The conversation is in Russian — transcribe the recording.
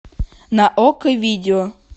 на окко видео